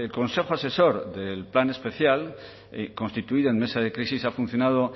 consejo asesor del plan especial constituido en mesa de crisis ha funcionado